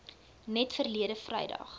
net verlede vrydag